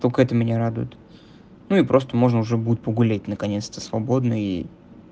только это меня радует ну и просто можно уже будет погулять наконец-то свободно и